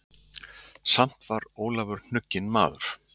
Samt var Ólafur hnugginn maður.